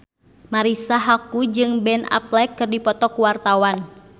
Marisa Haque jeung Ben Affleck keur dipoto ku wartawan